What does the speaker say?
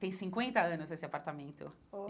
E tem cinquenta anos esse apartamento.